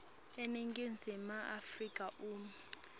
eningizimu afrika uma